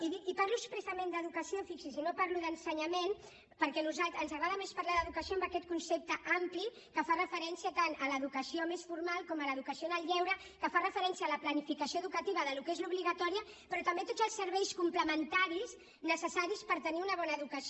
i parlo expressament d’ educació fixis’hi i no parlo d’ ensenyament perquè ens agrada més parlar d’ educació amb aquest concepte ampli que fa referència tant a l’educació més formal com a l’educació en el lleure que fa referència a la planificació educativa del que és l’obligatòria però també a tots els serveis complementaris necessaris per tenir una bona educació